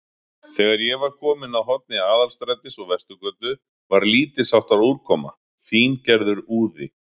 Þegar ég var kominn að horni Aðalstrætis og Vesturgötu, var lítilsháttar úrkoma, fíngerður úði.